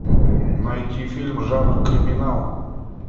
найти фильм жанр криминал